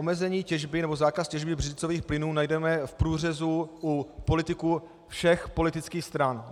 Omezení těžby nebo zákaz těžby břidlicových plynů najdeme v průřezu u politiků všech politických stran.